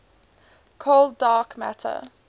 cold dark matter